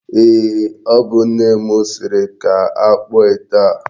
Eeh, o bu nne m siri ka akpụọ ite a.